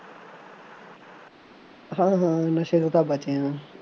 ਹਾਂ ਹਾਂ ਨਸ਼ੇ ਤੋਂ ਤਾਂ ਬਚੇ ਹਾਂ